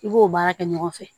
I b'o baara kɛ ɲɔgɔn fɛ